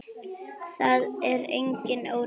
Það er engin óreiða.